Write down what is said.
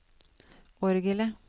orgelet